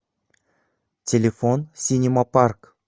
телефон синема парк